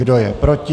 Kdo je proti?